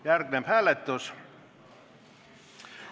Järgneb hääletus.